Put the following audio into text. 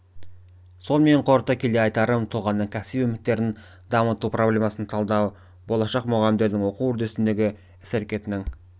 сонымен қорыта келе айтарым тұлғаның кәсіби мүмкіндіктерін дамыту проблемасын талдау болашақ мұғалімдердің оқу үдерісіндегі іс-әрекетінің